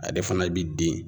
Ade fana bi den